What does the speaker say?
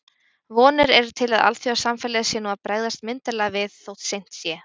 Vonir eru til að alþjóðasamfélagið sé nú að bregðast myndarlega við, þótt seint sé.